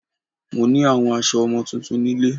Mo ní àwọn aso ọmọ tuntun nílé